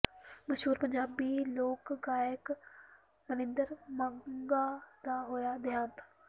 ਮਸ਼ਹੂਰ ਪੰਜਾਬੀ ਲੋਕ ਗਾਇਕ ਮਨਿੰਦਰ ਮੰਗਾ ਦਾ ਹੋਇਆ ਦਿਹਾਂਤ